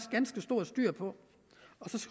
styr på og så